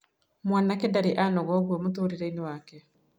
Mwanake ndarĩ anoga ũguo mũtũrĩre-inĩ wake.